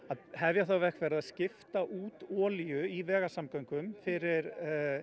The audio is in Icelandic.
að hefja þá vegferð að skipta út olíu í vegasamgöngum fyrir